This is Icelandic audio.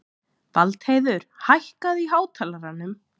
Valdheiður, hækkaðu í hátalaranum.